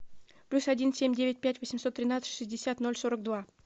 плюс один семь девять пять восемьсот тринадцать шестьдесят ноль сорок два